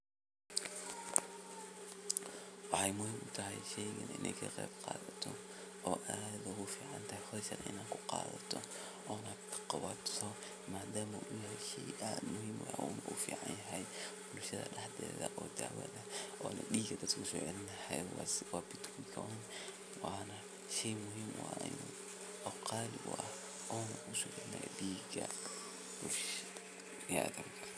Wexey muhiim utahay sheygan in ad kaqeyb qadato oo aad ogufican tahay howshan ina ad qawto madama shey aad muhiim uu kuficanyahay bulshada oo dawo ah oo diga usocelinayo oo betrut eh oona shey qali ah ona kusocelinayo dhiga.